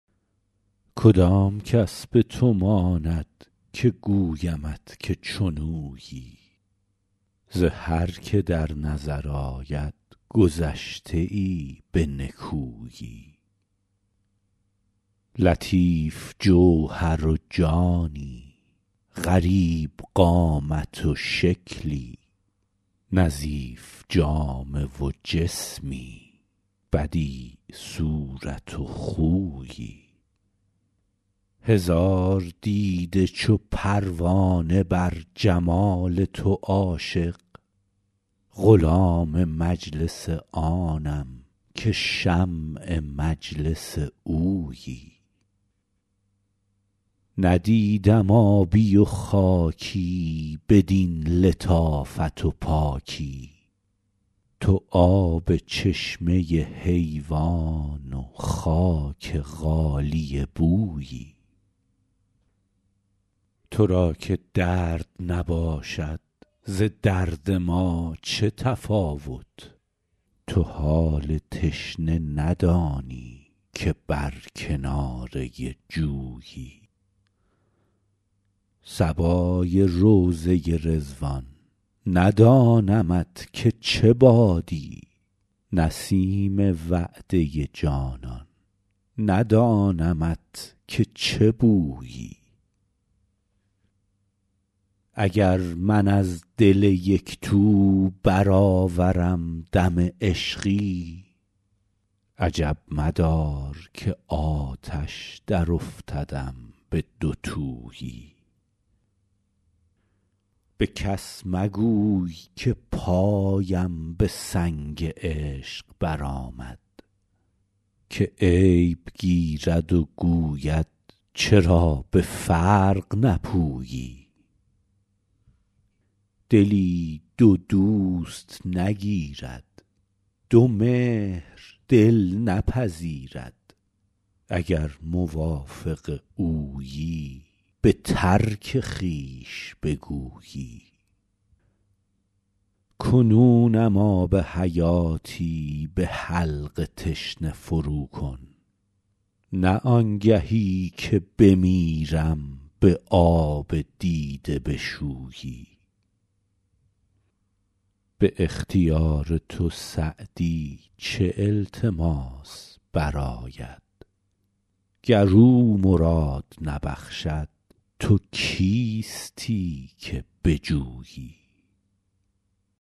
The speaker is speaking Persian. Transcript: کدام کس به تو ماند که گویمت که چون اویی ز هر که در نظر آید گذشته ای به نکویی لطیف جوهر و جانی غریب قامت و شکلی نظیف جامه و جسمی بدیع صورت و خویی هزار دیده چو پروانه بر جمال تو عاشق غلام مجلس آنم که شمع مجلس اویی ندیدم آبی و خاکی بدین لطافت و پاکی تو آب چشمه حیوان و خاک غالیه بویی تو را که درد نباشد ز درد ما چه تفاوت تو حال تشنه ندانی که بر کناره جویی صبای روضه رضوان ندانمت که چه بادی نسیم وعده جانان ندانمت که چه بویی اگر من از دل یک تو برآورم دم عشقی عجب مدار که آتش درافتدم به دوتویی به کس مگوی که پایم به سنگ عشق برآمد که عیب گیرد و گوید چرا به فرق نپویی دلی دو دوست نگیرد دو مهر دل نپذیرد اگر موافق اویی به ترک خویش بگویی کنونم آب حیاتی به حلق تشنه فروکن نه آنگهی که بمیرم به آب دیده بشویی به اختیار تو سعدی چه التماس برآید گر او مراد نبخشد تو کیستی که بجویی